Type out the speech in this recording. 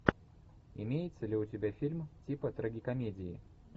имеется ли у тебя фильм типа трагикомедии